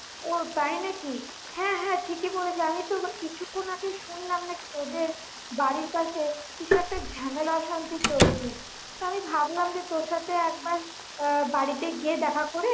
ও তাই নাকি হ্যাঁ হ্যাঁ ঠিকই বলেছিস, আমিত কিছুক্ষন আগে শুনলাম নাকি তোদের বাড়ির পাশে কিছু একটা ঝামেলা অশান্তি চলছে, তা ভাবলাম তোর সাথে একবার আহ বাড়িতে গিয়ে দেখা করে